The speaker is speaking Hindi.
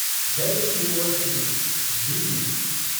Delhi university DU